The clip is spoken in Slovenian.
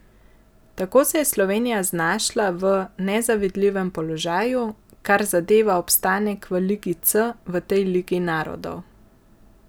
Tako se je Slovenija znašla v nezavidljivem položaju, kar zadeva obstanek v ligi C v tej ligi narodov.